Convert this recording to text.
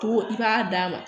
Ko i b'a d'a ma